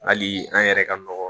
Hali an yɛrɛ ka nɔgɔ